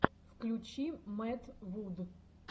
включи мэтт вуд